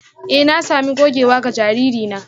Eh na sami gogewa ga jariri na